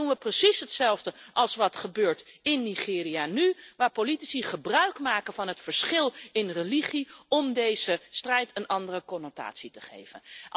Want dan doen we precies hetzelfde als wat nu gebeurt in Nigeria, waar politici gebruikmaken van het verschil in religie om deze strijd een andere connotatie te geven.